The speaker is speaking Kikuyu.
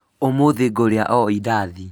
ũmũthĩ ngũrĩa o indathi